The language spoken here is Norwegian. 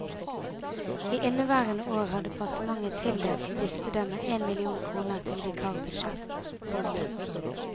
I inneværende år har departementet tildelt bispedømmet én million kroner til vikarbudsjett. punktum